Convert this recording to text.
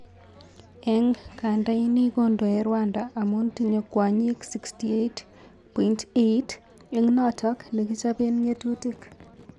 Eng kanda ini kondoe Rwanda amun tinye kwonyik 63.8,!. eng kot nekichapen ngetutik.